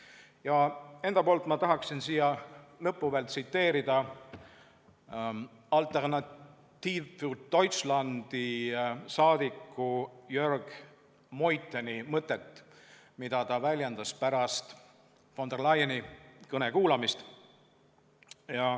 Ja enda poolt ma tahaksin siin lõpus veel tsiteerida Alternative für Deutschlandi saadiku Jörg Meutheni mõtet, mida ta väljendas pärast von der Leyeni kõne kuulamist.